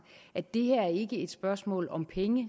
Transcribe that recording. at det her ikke et spørgsmål om penge